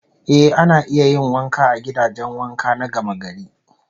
Eh, ana iya yin wanka a gidajen wanka na gamagari